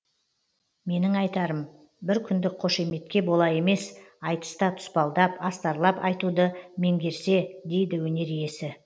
менің айтарым бір күндік қошеметке бола емес айтыста тұспалдап астарлап айтуды меңгерсе дейді өнер иесі